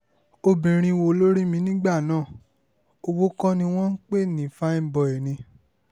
obìnrin wo ló rí mi nígbà náà owó kọ́ ni wọ́n ń pè ní fáin bói ni